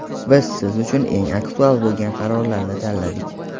Biz siz uchun eng aktual bo‘lgan qarorlarni tanladik.